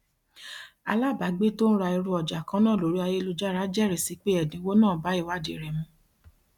alábàágbé tó ń ra irú ọjà kan náà lórí ayélujára jẹrìí si pé ẹdínwó náà bá ìwádìí rẹ mu